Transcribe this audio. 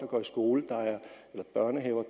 går i skole der er børnehaver